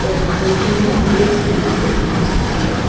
there are also many bricks visible in this picture.